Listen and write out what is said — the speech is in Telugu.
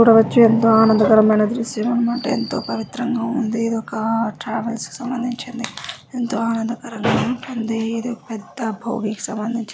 ఇప్పుడు వచ్చే ది ఎంతో పెద్ద ఆనందకరమైన దృశ్యం అన్నమాట ఎంతో పవిత్రంగా ఉంది. ఇది ఒక ట్రావెల్ కి సంబంధించింది ఎంతోఆనంద కరంగా ఉంటుంది. ఇది ఒక పెద్ద భోగి కి సంబంధించింది.